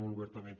molt obertament